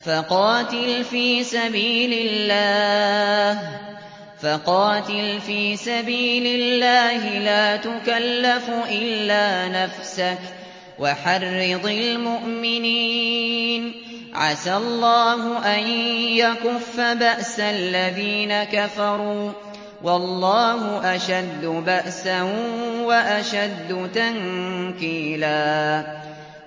فَقَاتِلْ فِي سَبِيلِ اللَّهِ لَا تُكَلَّفُ إِلَّا نَفْسَكَ ۚ وَحَرِّضِ الْمُؤْمِنِينَ ۖ عَسَى اللَّهُ أَن يَكُفَّ بَأْسَ الَّذِينَ كَفَرُوا ۚ وَاللَّهُ أَشَدُّ بَأْسًا وَأَشَدُّ تَنكِيلًا